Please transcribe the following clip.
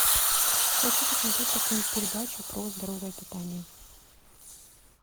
хочу посмотреть какую нибудь передачу про здоровое питание